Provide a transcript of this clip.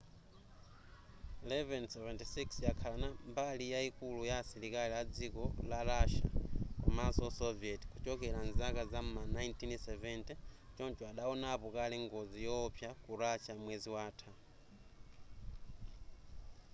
il-76 yakhala mbali yayikulu ya asilikali a dziko la russia komanso soviet kuchokera mzaka zam'ma 1970 choncho adawonapo kale ngozi yowopsa ku russia mwezi watha